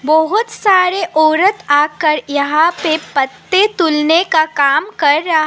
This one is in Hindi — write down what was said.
बहुत सारे औरत आकर यहां पे पत्ते तुलने का काम कर रहा--